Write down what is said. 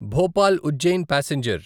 Bhopal Ujjain passenger